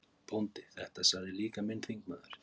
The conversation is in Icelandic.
BÓNDI: Þetta sagði líka minn þingmaður